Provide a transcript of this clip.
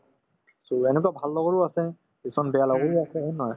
so, এনেকুৱা ভাল লগৰো আছে কিছুমানে বেয়া লগৰো আছে হয় নে নহয়